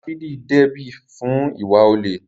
Dáfídì dẹ́bi fún ìwà olè